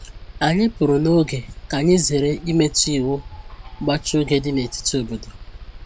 Anyị pụrụ n'oge ka anyị zere imetụ iwu mgbachi oge dị n’etiti obodo